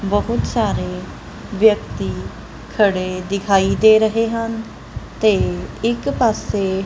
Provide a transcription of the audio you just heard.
ਬਹੁਤ ਸਾਰੇ ਵਿਅਕਤੀ ਖੜੇ ਦਿਖਾਈ ਦੇ ਰਹੇ ਹਨ ਤੇ ਇੱਕ ਪਾਸੇ--